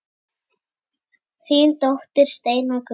Þín dóttir Steina Guðrún.